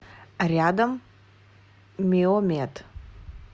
рядом миомед